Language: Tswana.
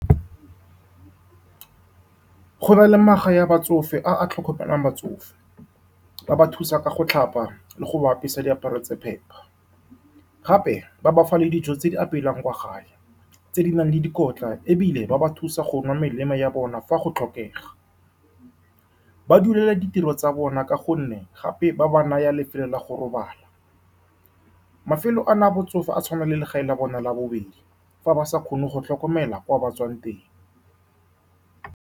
Go na le magae a batsofe a a tlhokomelang batsofe. Ba ba thusa ka go tlhapa le go ba apesa diaparo tse di phepa, gape ba ba fa le dijo tse di apeiwang kwa gae tse di nang le dikotla, ebile ba ba thusa go nwa melemo ya bona fa go tlhokega. Ba dulela ditiro tsa bona ka gonne gape ba ba naya lefelo la go robala. Mafelo a na a batsofe a tshwana le legae la bona la bobedi fa ba sa kgone go tlhokomelwa kwa ba tswang teng.